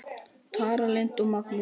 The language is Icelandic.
Tara Lynd og Magnús.